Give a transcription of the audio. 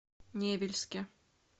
невельске